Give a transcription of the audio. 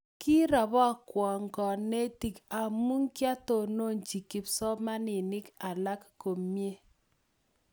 Kirapokwo kanetik amukiatononchi kipsomaninik alak komye